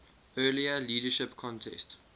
earlier leadership contest